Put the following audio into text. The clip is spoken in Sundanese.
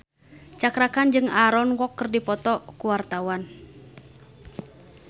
Cakra Khan jeung Aaron Kwok keur dipoto ku wartawan